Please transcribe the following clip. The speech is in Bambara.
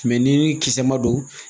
ni kisɛ ma don